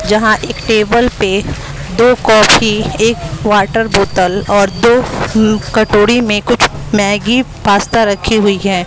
जहां एक टेबल पे दो कॉफी एक वाटर बोतल और दो कटोरी में कुछ मैगी पास्ता रखी हुई है।